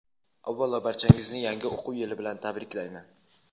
Avvalo barchangizni yangi o‘quv yili bilan tabriklayman!.